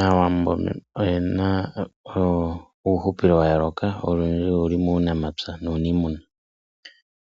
Aawambo oyena uuhupilo wa yooloka olundji oluli muunamapya nuunimuna.